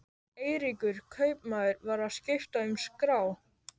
Eiríkur kaupmaður var að skipta um skrá.